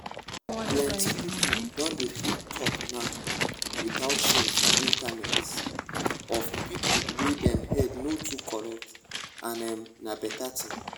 plenty people don dey fit talk now without shame for internet internet of people wey dem head no too correct and emm na better thing